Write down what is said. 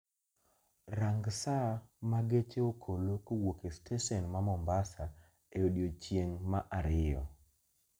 Rang saa ma geche okolo kowuok e stesen ma mombasa e odiechieng' ma ariyo